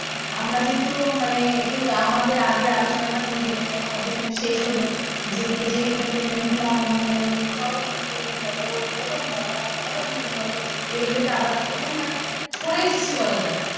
আমরা যেহেতু মানে এ আমাদের আগের আলোচনাটা তুমি দেখলে যেখানে শেষ হলো, যেগুলো যে entertainment গুলো আমরা মানে ধরো entertainment বলো, বিনোদন বলো, মনোরঞ্জন বলো যেগুলো থেকে আমরা পুরোপুরি মানে সরে এসছি বলা যায়।